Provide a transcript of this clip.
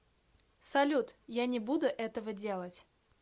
салют я не буду этого делать